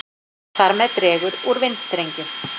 Þar með dregur úr vindstrengjum.